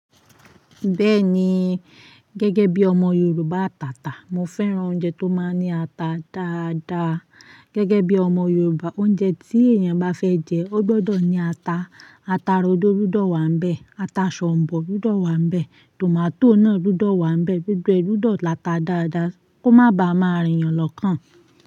Bẹ́ẹ̀ni, gẹ́gẹ́ bí ọmọ Yorùbá àtàtà, mo fẹ́ràn oúnjẹ tó máa ń ní ata dáadáa. Gẹ́gẹ́ bí ọmọ Yorùbá, oúnjẹ tí èèyàn bá fẹ jẹ, ó gbọdọ̀ ní ata. Ata rodo gbúdọ̀ wàá ń bẹ́, ata ṣọ̀ǹbọ gbúdọ̀ wàá ń bẹ́, tomato náà gbúdọ̀ wàá ń bẹ́, gbogbo ẹ gbudọ̀ lata dáadáa kó má baà má rìn yàn lọ́kàn.